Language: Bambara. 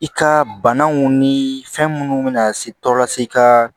I ka banaw ni fɛn minnu bɛ na se tɔ lase ka